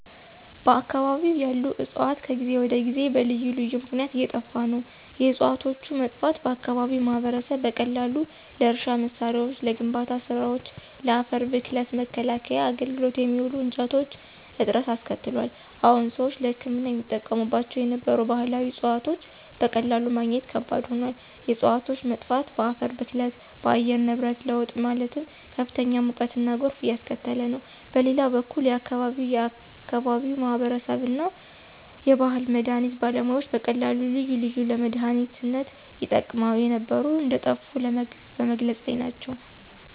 በአከባቢው ያሉ ዕፅዋት ከጊዜ ወደ ጊዜ በልዩ ልዩ ምክነያት እየጠፋ ነው። የዕፅዋቶቹ መጥፋት በአከባቢው ማህበረሰብ በቀላሉ ለእርሻ መሳሪያዎች፣ ለግንባታ ስራወች፣ ለአፈር ብክለት መከላከያ አገልግሎት የሚውሉ እንጨቶች እጥረት አስከትሏል። አዎን ሰዎች ለህክምና ይጠቀሙባቸው የነበሩ ባህላዊ ዕፅዋቶች በቀላሉ ማግኘት ከባድ ሆኗል። የእፅዋቶች መጥፋት በአፈር ብክለት፣ በአየር ንብረት ለውጥ ማለትም ከፍተኛ ሙቀትና ጎርፍ እያስከተለ ነው። በሌላ በኩል የአከባቢው የአከባቢው ማህበረሰብ እና የባህል መድሀኒት ባለሙያዎች በቀላሉ ልዩ ልዩ ለመድሃኒነት ይጠቀሙ የነበሩ እንደጠፉ በመግለፅ ላይ ናቸው።